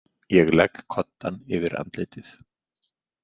Ég legg koddann yfir andlitið.